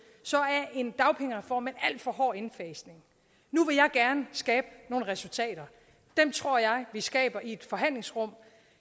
så af en dagpengereform med en alt for hård indfasning nu vil jeg gerne skabe nogle resultater dem tror jeg vi skaber i et forhandlingsrum